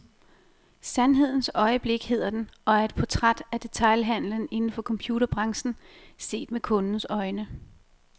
Sandhedens øjeblik hedder den, og er et portræt af detailhandlen inden for computerbranchen, set med kundens øjne.